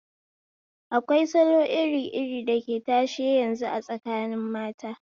Akwai salo iri iri dake tashe yazu a tsakini mata